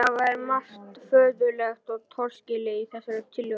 Það er margt mjög furðulegt og torskilið í þessari tillögu.